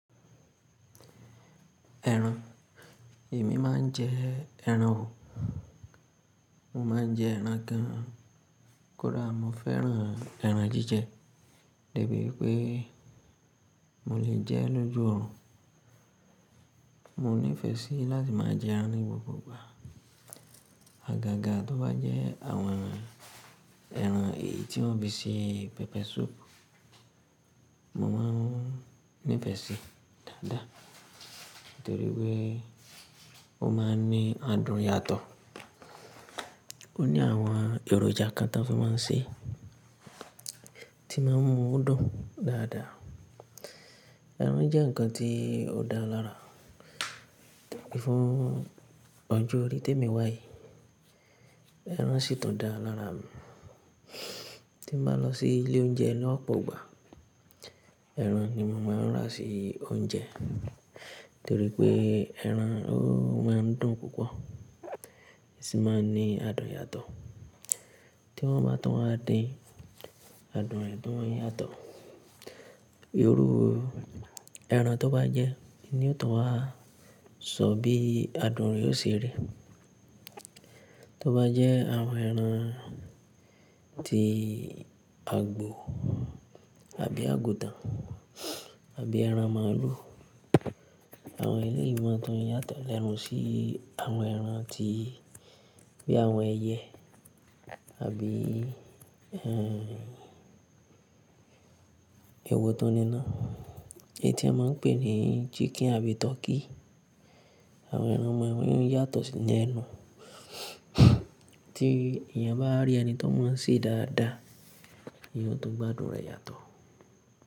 Ẹran, èmi máa ń jẹ ẹran ò. Mo máa ń jẹ ẹran gan, kódà mo fẹ́ràn ẹran jíjẹ, debi wipé mo lè jẹ ẹ́ lójú orun. Mo nífẹ̀ẹ́ sí láti máa jẹ ẹran ní gbogbo ìgbà. Àgàgà tó bá jẹ́ àwọn ẹran èyí tí wọ́n fi sí pepper soup, mo máa ń nífẹ̀ẹ́ sí dáadáa, torí pé ó máa ń ní adùn yàtọ̀. Ó ní àwọn èròjà kan tan fi máa ń ṣe, tí máa ń mú dùn dáadáa. Ẹran jẹ́ nǹkan tí ó dára lára, Tojepe fún ọjọ́ orí témi wáyi, ẹran sì tún dára lára mi. Tí mo bá lọ sí ilé oúnjẹ lọ́pọ̀ ìgbà, ẹran ni mo máa ń rà sí oúnjẹ, torí pé ẹran ó máa ń dùn púpọ̀, sì máa ń ní adùn yàtọ̀. Tí wọ́n bá tùn wa dín, adùn rẹ̀ tùn yàtọ̀. Iru ẹran tó bá jẹ́ ni ó tùn wá, ṣọ bí adùn ré ó ṣe rí. Tó bá jẹ́ àwọn ẹran tí àgbò, àbí àgùntàn, àbí ẹran màlúù, àwọn e lé yìí máa tún yàtọ̀ lenu sí àwọn ẹran tí bí àwọn ẹyẹ, àbí, ẹ́, ewo tun ní ná, èyí tí won máa ń pè ní chicken àbí turkey. Àwọn ẹran wọ̀nyí yóò yàtọ̀ sí ni ẹnu Tí èèyàn bá rí ẹni to mo ń sè é dáadáa, eyan ó tún gbádùn rẹ̀ yàtọ̀.